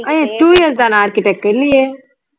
அஹ் ஏய் two years தானே architech க்கு இல்லையே